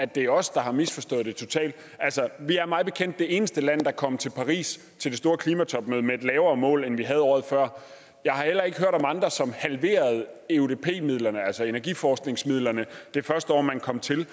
det er os der har misforstået det totalt altså vi er mig bekendt det eneste land der kom til paris til det store klimatopmøde med et lavere mål end vi havde året før jeg har heller ikke hørt om andre som halverede eudp midlerne altså energiforskningsmidlerne det første år man kom til